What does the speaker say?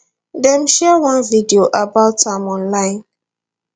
dem share one video about am online